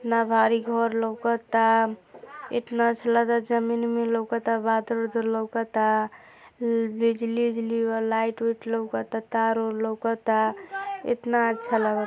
इतना भारी घोर लौकता आ इतना अच्छा लगत जमीन उमीन लौका आ बादल-वादल लौकता बा बिजली उजली लाइट वाइट लौकत बा तार वार लौकत आ इतना अच्छा लगत --